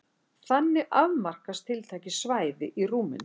Þannig afmarkast tiltekið svæði í rúminu.